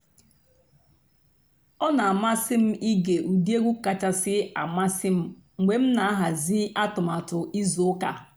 ọ́ nà-àmásị́ m íge ụ́dị́ ègwú kàchàsị́ àmásị́ m mg̀bé m nà-àhàzị́ àtụ́màtụ́ ìzú ụ́kà.